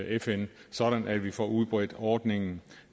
fn sådan at vi får udbredt ordningen